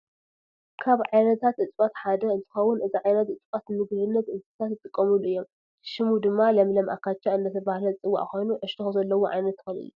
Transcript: ካብ ዓይነታት እፅዋት ሓደ እንትከውን እዚ ዓይነት እፅዋት ንምግብነት እንስሳት ይጥቀምሉ እዮም። ሽም ድማ ለምለም ኣካቻ እንዳተባሃለ ዝፅዋዕ ኮይኑ ዕሸክ ዘለኮ ዓይነት ተክሊ እዩ።